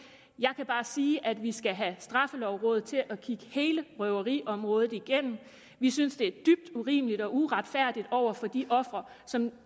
jeg kan bare sige at vi skal have straffelovrådet til at kigge hele røveriområdet igennem vi synes det er dybt urimeligt og uretfærdigt over for de ofre som